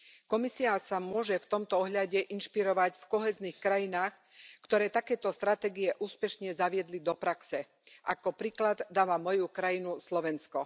Komisia sa môže v tomto ohľade inšpirovať v kohéznych krajinách, ktoré takéto stratégie úspešne zaviedli do praxe. Ako príklad dávam moju krajinu Slovensko.